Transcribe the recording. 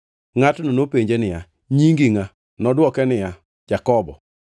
Ngʼatno nopenje niya, “Nyingi ngʼa?” Nodwoke niya, “Jakobo.”